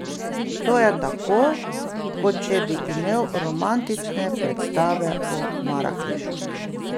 To je tako, kot če bi imel romantične predstave o Marakešu.